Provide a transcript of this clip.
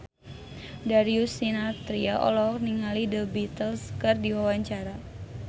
Darius Sinathrya olohok ningali The Beatles keur diwawancara